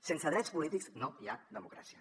sense drets polítics no hi ha democràcia